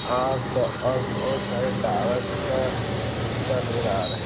और तो और बहुत सारे टावर का खुट्टा नजर आ रहे --